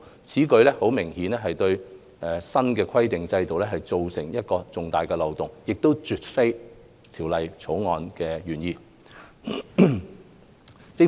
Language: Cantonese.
此舉明顯對新規管制度構成重大漏洞，絕非《條例草案》原意。